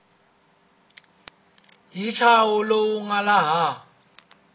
hi ntshaho lowu nga laha